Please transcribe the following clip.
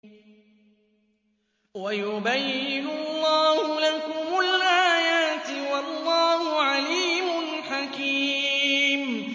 وَيُبَيِّنُ اللَّهُ لَكُمُ الْآيَاتِ ۚ وَاللَّهُ عَلِيمٌ حَكِيمٌ